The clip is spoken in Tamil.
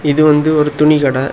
இது வந்து ஒரு துணி கடை.